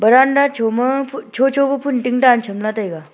veranda choma phu chocho pu phun ting dan chamla taiga.